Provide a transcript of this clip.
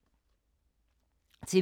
TV 2